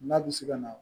N'a bɛ se ka na